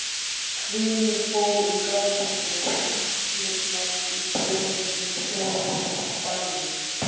Hvinur fór um garðinn svo hríslurnar í beðunum bærðust.